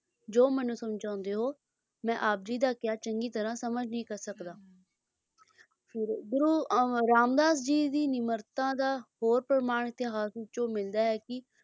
ਜੋ ਮੈਨੂੰ ਸਮਝਾਉਂਦੇ ਹੋ ਆਪ ਜੀ ਦਾ ਕਿਹਾ ਚੰਗੀ ਤਰਾਂ ਸਮਝ ਨਹੀਂ ਕਰ ਸਕਦਾ ਫੇਰ ਗੁਰੂ ਰਾਮਦਾਸ ਜੀ ਦੀ ਨਿਮਰਤਾ ਦਾ ਹੋਰ ਪ੍ਰਮਾਣ ਇਤਿਹਾਸ ਵਿੱਚੋਂ ਮਿਲਦਾ ਹੈ ਕੀ,